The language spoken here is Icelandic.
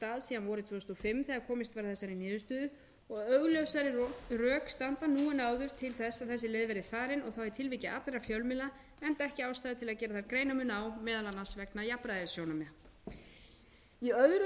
síðan vorið tvö þúsund og fimm þegar komist var að þessari niðurstöðu og augljósari rök standa nú en áður til þess að þessi leið verði farin og þá í tilviki allra fjölmiðla enda ekki ástæða til að gera þar greinarmun á meðal annars vegna jafnræðissjónarmiða í öðru